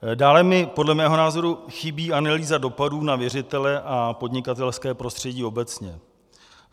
Dále mi podle mého názoru chybí analýza dopadů na věřitele a podnikatelské prostředí obecně.